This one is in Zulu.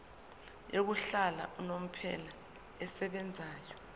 yokuhlala unomphela esebenzayo